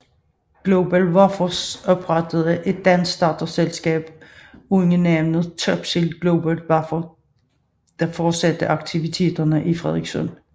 GlobalWafers oprettede et dansk datterselskab under navnet Topsil GlobalWafers der fortsatte aktiviteterne i Frederikssund